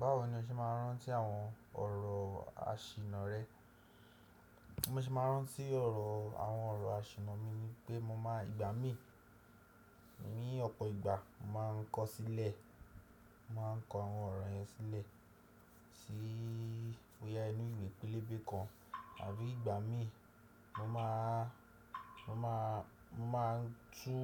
Báwo ni o ṣe máa ń rántí àwọn ọ̀rọ̀ àṣìna rẹ? Mo ṣe máa ń rántí ọ̀rọ̀ àwọn ọ̀rọ̀ àṣìna mi ni pé mo máa ìgbà mí, ní ọ̀pọ̀ ìgbà máa ń kọ sílẹ̀. Máa ń kọ àwọn ọ̀rọ̀ yẹn sílẹ̀ sí boyà inú ìwé pélébé kan àbí ìgbà mí, mo máa, mo máa ń tú